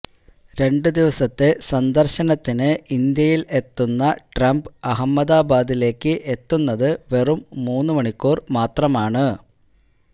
രണ്ട് ദിവസത്തെ സന്ദർശനത്തിന് ഇന്ത്യയിൽ എത്തുന്ന ട്രംപ് അഹമ്മദാബാദിലേക്ക് എത്തുന്നത് വെറും മൂന്നു മണിക്കൂർ മാത്രമാണ്